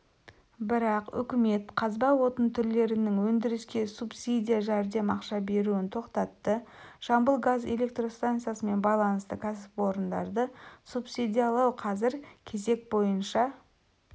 бірақ үкімет қазба отын түрлерінің өндіріске субсидия жәрдем ақша беруін тоқтатты жамбыл газ электрстанциясымен байланысты кәсіпорындарды субсидиялау қазір кезек бойынша